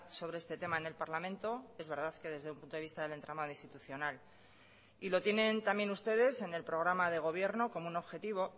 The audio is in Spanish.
sobre este tema en el parlamento es verdad que desde un punto de vista del entramado institucional y lo tienen también ustedes en el programa de gobierno como un objetivo